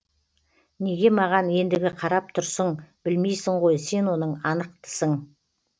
неге маған ендігі қарап тұрсың білмейсің ғой сен оның анықтысың